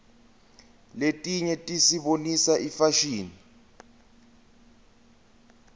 letinye tisibonisa ifashini